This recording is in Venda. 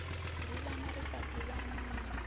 ḓivhana ri sa ḓivhani ni